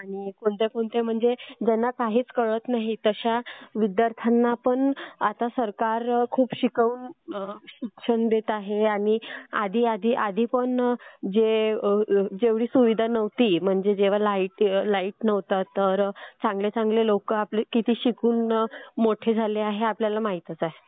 आणि कोणत्या कोणत्या विद्यार्थ्यांना म्हणजे ज्यानना काहीच कळत नाही अश्या विद्यार्थ्यांना पण आता सरकार खूप शिक्षण देत आहे आणि आधी पण जे जेव्हडी सुविधा नव्हती, म्हणजे जेंव्हा लाईट नव्हता तर चांगले चांगले लोक आपले किती शिकून मोठे झाले हे तर आपल्याला माहीतच आहे.